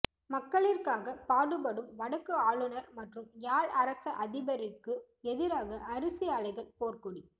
மக்களிற்காக பாடுபடும் வடக்கு ஆளுனர் மற்றும் யாழ் அரச அதிபரிற்கு எதிராக அரிசி ஆலைகள் போர்கொடி